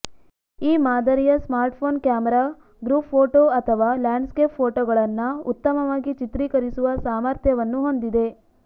ಈ ಮಾದರಿಯ smartphone camera group photo ಅಥವಾ ಲ್ಯಾಂಡ್ಸ್ಕೇಪ್ ಪೋಟೋಗಳನ್ನ ಉತ್ತಮವಾಗಿ ಚಿತ್ರಿಕರಿಸುವ ಸಾಮರ್ಥ್ಯವನ್ನು ಹೊಂದಿದೆ